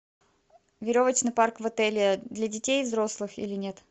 веревочный парк в отеле для детей и взрослых или нет